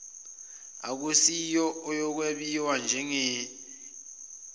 akusiyo eyokwebiwa ngeyelobolo